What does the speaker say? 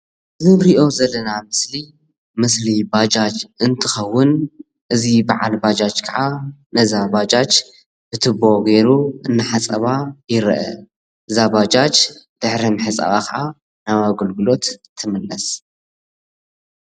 እዚ እንሪኦ ዘለና ምስሊ ምስሊ ባጃጅ እንትኸዉን እዚ በዓል ባጃጅ ከዓ ንዛ ባጃጅ ብቱቦ ገይሩ እናሓፀባ ይረአ። እዛ ባጃጃ ድሕሪ ምሕፃባ ከዓ ናብ አገልግሎት ትምለስ፡፡